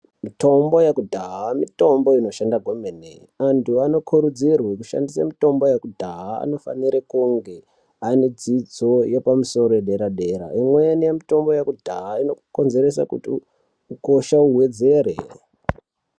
Mitombo yekudhaya mitombo inoshanda kwemene. Antu vanokurudzirwe kushandise mitombo yekudhaya vanofanira kunge ane dzidzo yepamusoro dera dera. Imweni mitombo yekudhaya inokonzeresa kuti ukosha uwedzere.